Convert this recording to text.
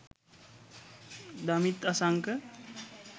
damith asanka